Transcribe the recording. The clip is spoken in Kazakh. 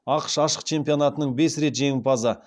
ақш ашық чемпионатының бес рет жеңімпазы